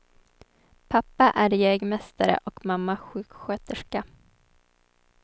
Pappa är jägmästare och mamma sjuksköterska.